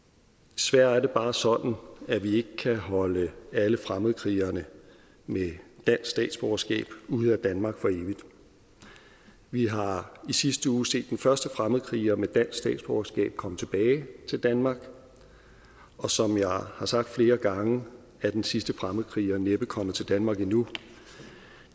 desværre er det bare sådan at vi ikke kan holde alle fremmedkrigerne med dansk statsborgerskab ude af danmark for evigt vi har i sidste uge set den første fremmedkriger med dansk statsborgerskab komme tilbage til danmark og som jeg har sagt flere gange er den sidste fremmedkriger næppe kommet til danmark endnu